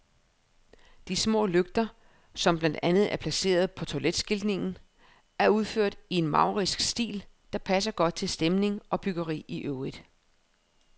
De små lygter, som blandt andet er placeret på toiletskiltningen, er udført i en maurisk stil, der passer godt til stemning og byggeri i øvrigt.